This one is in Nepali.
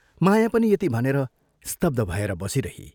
माया पनि यति भनेर स्तब्ध भएर बसी रही।